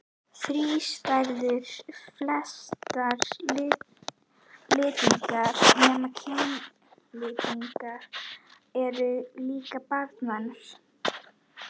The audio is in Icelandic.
Þrístæður flestra litninga nema kynlitninga eru líka banvænar.